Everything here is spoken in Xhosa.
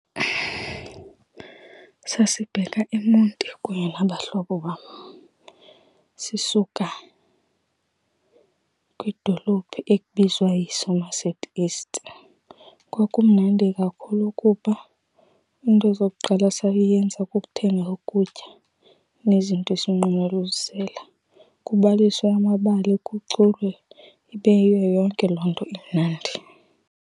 Sasibheka eMonti kunye nabahlobo bam, sisuka kwidolophu ekubizwa yiSomerset East. Kwakumnandi kakhulu kuba iinto zokuqala esayenza kukuthenga ukutya nezinto esinqwenela uzisela. Kubaliswa amabali, kuculwe, ibe yiyo yonke loo nto imnandi.